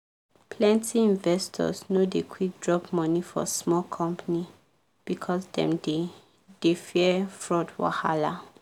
plenty investors no dey quick drop money for small company because dem dey dey fear fraud wahala.